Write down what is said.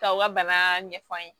K'aw ka bana ɲɛf'an ye